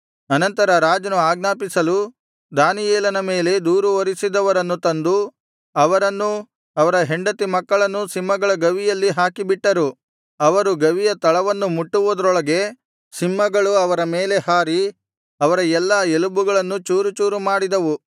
ಅನಂತರ ರಾಜನು ಆಜ್ಞಾಪಿಸಲು ದಾನಿಯೇಲನ ಮೇಲೆ ದೂರು ಹೊರಿಸಿದವರನ್ನು ತಂದು ಅವರನ್ನೂ ಅವರ ಹೆಂಡತಿ ಮಕ್ಕಳನ್ನು ಸಿಂಹಗಳ ಗವಿಯಲ್ಲಿ ಹಾಕಿಬಿಟ್ಟರು ಅವರು ಗವಿಯ ತಳವನ್ನು ಮುಟ್ಟುವುದರೊಳಗೆ ಸಿಂಹಗಳು ಅವರ ಮೇಲೆ ಹಾರಿ ಅವರ ಎಲ್ಲಾ ಎಲುಬುಗಳನ್ನು ಚೂರುಚೂರು ಮಾಡಿದವು